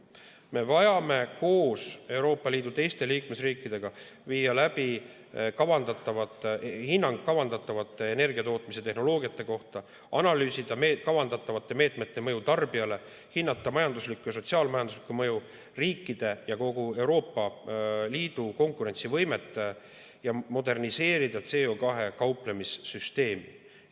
Meil on vaja koos Euroopa Liidu teiste liikmesriikidega viia läbi hinnang kavandatavate energiatootmise tehnoloogiate kohta, analüüsida kavandatavate meetmete mõju tarbijale, hinnata majanduslikku ja sotsiaal-majanduslikku mõju, riikide ja kogu Euroopa Liidu konkurentsivõimet ning moderniseerida CO2‑ga kauplemise süsteemi.